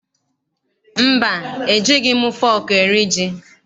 Mba, ejighị m fọọkụ eri ji.